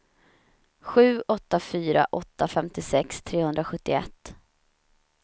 sju åtta fyra åtta femtiosex trehundrasjuttioett